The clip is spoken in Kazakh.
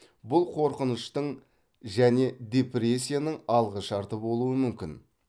бұл қорқыныштың және депрессияның алғышарты болуы мүмкін